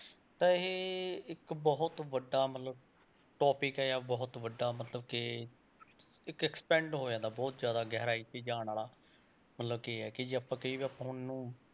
ਤਾਂ ਇਹ ਇੱਕ ਬਹੁਤ ਵੱਡਾ ਮਤਲਬ topic ਹੈ ਜਾਂ ਬਹੁਤ ਵੱਡਾ ਮਤਲਬ ਕਿ ਇੱਕ expand ਹੋ ਜਾਂਦਾ ਬਹੁਤ ਜ਼ਿਆਦਾ ਗਹਿਰਾਈ 'ਚ ਜਾਣ ਵਾਲਾ, ਮਤਲਬ ਕਿ ਇਹ ਆ ਕਿ ਜੇ ਆਪਾਂ ਕਹੀਏ ਕਿ ਆਪਾਂ ਹੁਣ ਨੂੰ,